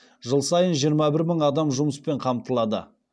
жыл сайынжиырма бір мың адам жұмыспен қамтылады